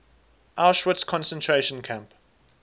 auschwitz concentration camp